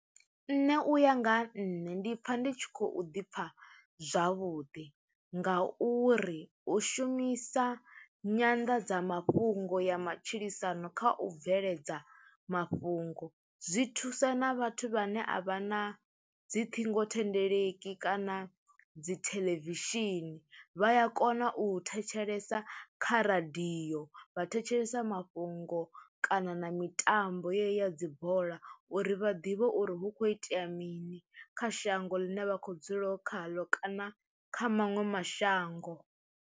Nṋe uya nga ha nṋe ndi pfha ndi tshi khou ḓi pfha zwavhuḓi, nga uri u shumisa Nyanḓadza mafhungo ya matshilisano kha u bveledza mafhungo zwi thusa na vhathu vhane a vha na dzi ṱhingothendeleki kana dzi theḽevishini, vha ya kona u thetshelesa kha radio vha thetshelesa mafhungo kana na mitambo yeyi dzibola uri vha ḓivhe uri hu kho itea mini kha shango ḽine vha kho dzulaho khaḽo kana kha maṅwe mashango.